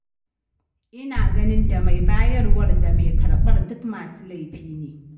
Ina ganin da mai bayarwar da mai karɓar duk masu laifi ne.